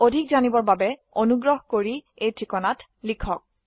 অধিক জানিবৰ বাবে অনুগ্ৰহ কৰি contactspoken tutorialorg এই ঠিকনাত লিখক